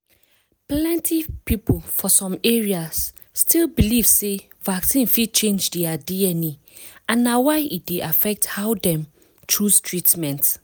plenty people for some areas still belive sey vaccine fit change their dna and na why e dey affect how dem chose treatments.